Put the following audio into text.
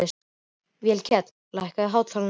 Vékell, lækkaðu í hátalaranum.